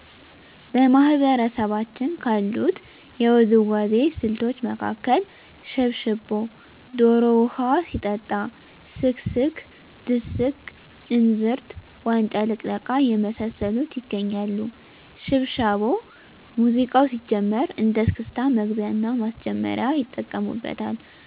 በማህበረሰባችን ካሉት የውዝዋዜ ስልቶች መካከል ሽብሻቦ ዶሮ ውሀ ሲጠጣ ስክስክ ድስቅ እንዝርት ዋንጫ ልቅለቃ የመሳሰሉት ይገኛሉ። ሽብሻቦ ሙዚቃው ሲጀምር እንደ እስክስታ መግቢያና ማስጀመሪያ ይጠቀሙበታል።